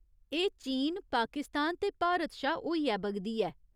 एह् चीन, पाकिस्तान ते भारत शा होइयै बगदी ऐ।